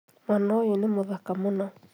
Mwana ũyũ nĩ mthaka mũno